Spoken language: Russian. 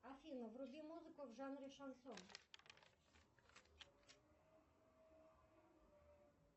афина вруби музыку в жанре шансон